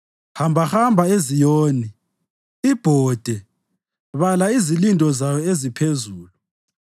Hambahamba eZiyoni, ibhode, bala izilindo zayo eziphezulu,